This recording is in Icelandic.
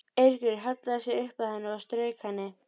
Eiríkur hallaði sér upp að henni og strauk henni.